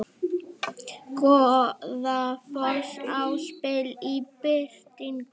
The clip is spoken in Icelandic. Goðafoss í slipp í birtingu